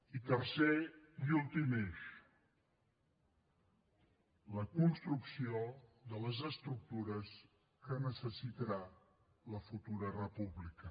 i tercer i últim eix la construcció de les estructures que necessitarà la futura república